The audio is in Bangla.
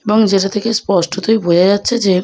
এবং যেটা থেকে স্পষ্টতই বোঝা যাচ্ছে যে--